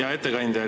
Hea ettekandja!